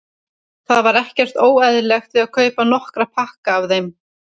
Það var ekkert óeðlilegt við að kaupa nokkra pakka af þeim.